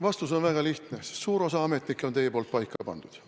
Vastus on väga lihtne: sest suur osa ametnikke on teie poolt paika pandud.